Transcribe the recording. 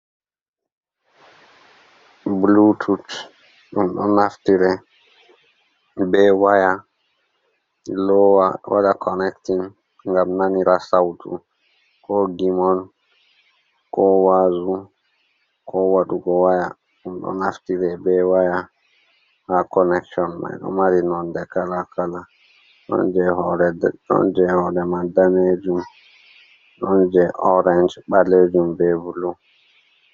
Blutut ɗum ɗo naftire be waya, lowa waɗa konectin ngam nanira sautu ko gimol ko wazu ko waɗugo waya ɗum ɗo naftire be waya ha konection mai. Ɗo mari nonde kala kala don je hode mai danejum, don je orenj, ɓalejum be bulu.